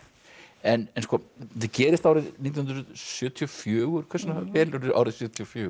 en þetta gerist árið nítján hundruð sjötíu og fjögur hvers vegna velurðu árið sjötíu og fjögur